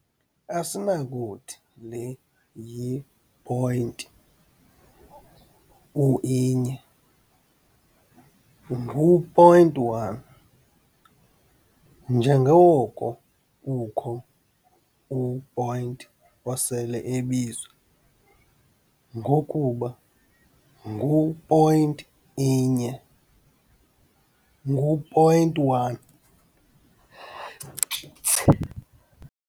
Asinakuthi le yi-point u-inye ngu-point one, njengoko kukho u-point osele ebizwa ngokuba ngu-point inye, ngu-point one.